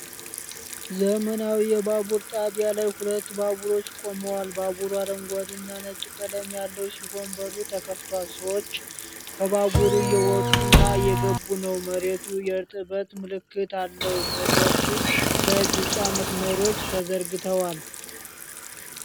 ዘመናዊ የባቡር ጣቢያ ላይ ሁለት ባቡሮች ቆመዋል። ባቡሩ አረንጓዴና ነጭ ቀለም ያለው ሲሆን በሩ ተከፍቷል። ሰዎች ከባቡሩ እየወጡና እየገቡ ነው። መሬቱ የእርጥበት ምልክት አለው። መድረኩ ላይ ቢጫ መስመሮች ተዘርግተዋል።